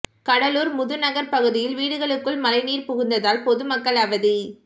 கடலூர் முது நகர் பகுதியில் வீடுகளுக்குள் மழைநீர் புகுந்ததால் பொதுமக்கள் அவதி